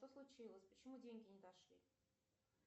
что случилось почему деньги не дошли